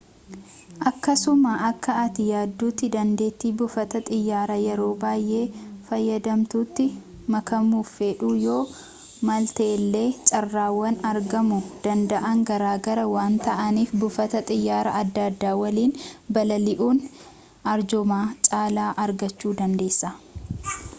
akkasuma akka ati yaaduutti dandeetti buufata xiiyaraa yeroo baayee fayyadamtuutti makaamuf fedhuu yoo maltellee carraawwan argaamu danda'aan garaagara waan ta'aniif buufata xiyaara adda addaa waliin balali'uun arjooma caalaa argachuudandeessa